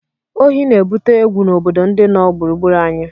Ohí na-ebute egwu n'obodo ndị nọ gburugburu anyị